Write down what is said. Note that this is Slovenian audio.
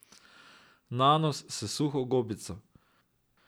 Nanos s suho gobico.